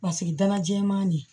Paseke dala jɛman de